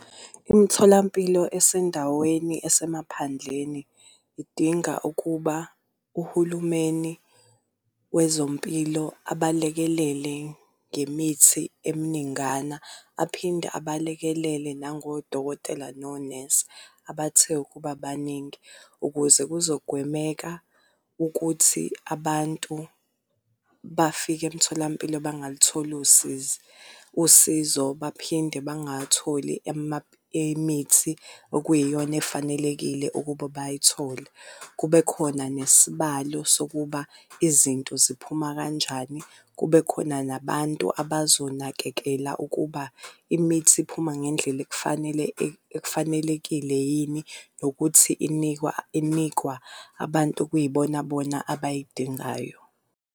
Imitholampilo esendaweni esemaphandleni idinga ukuba uhulumeni wezompilo abalekelele ngemithi eminingana, aphinde abalekelele nango dokotela nonesi abathe ukuba baningi, ukuze kuzogwemeka ukuthi abantu bafike emtholampilo bangalithola usizi, usizo. Baphinde bangawatholi imithi okuyiyona efanelekile ukuba bayithole. Kube khona nesibalo sokuba izinto ziphuma kanjani. Kube khona nabantu abazonakekela ukuba imithi iphuma ngendlela ekufanele, ekufanelekile yini, nokuthi inikwa inikwa abantu okuyibona bona abayidingayo.